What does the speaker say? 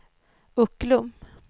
Ucklum